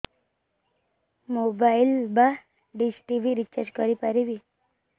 mobile ବା dish TV recharge କରି ପାରିବି